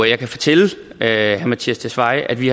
jeg kan fortælle herre mattias tesfaye at vi